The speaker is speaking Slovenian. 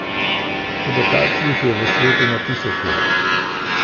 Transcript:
Toda takšnih je v svetu na tisoče.